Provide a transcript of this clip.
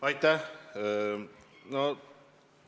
Aitäh!